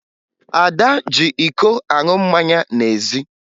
Ada ji iko aṅụ mmanya n'ezi